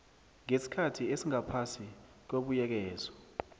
ngesikhathi esingaphasi kwebuyekezo